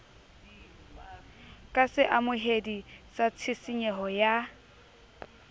ka seamohedi sa tshisinyeho ya